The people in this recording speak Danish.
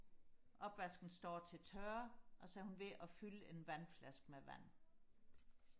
opvasken står til tørre og så er hun ved og fylde en vandflaske med vand